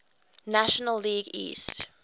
national league east